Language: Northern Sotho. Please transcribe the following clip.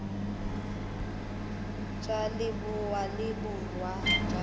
tša leboa le borwa tša